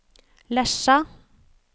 Lesja